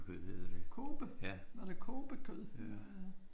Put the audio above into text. Kobe? Var det kobekød?